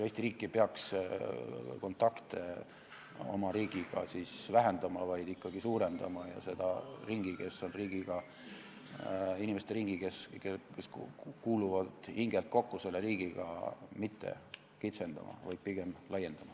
Eesti riik ei peaks kontakte oma riigiga siis vähendama, vaid ikkagi suurendama ja seda inimeste ringi, kes kuuluvad hingelt selle riigiga kokku, mitte kitsendama, vaid pigem laiendama.